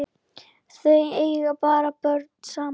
Þau eiga ekki börn saman.